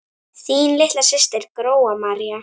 Þín litla systir, Gróa María.